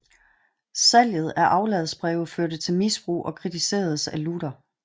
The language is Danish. Salget af afladsbreve førte til misbrug og kritiseredes af Luther